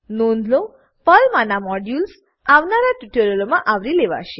નોંધ લો પર્લ માનાં મોડ્યુલ્સ મોડ્યુલો આવનારા ટ્યુટોરીયલોમાં આવરી લેવાશે